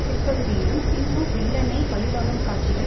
பிற்பகுதியிலும் சிம்பு வில்லனை பழிவாங்கும் காட்சிகள்